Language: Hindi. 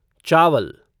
चावल